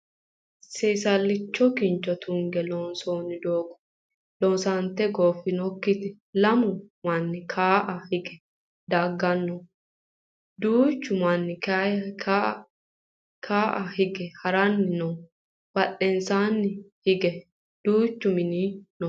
seesallicho kincho tunge loonsooni doogo loosante gooffinokkitera lamu manni kawa higge dagganna duuchu manni ka'a hige haranni noowa badhensaanni hige duuchu mini no